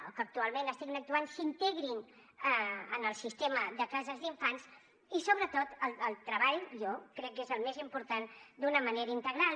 o que actualment estiguin actuant s’integrin en el sistema de cases d’infants i sobretot el treball jo crec que és el més important d’una manera integral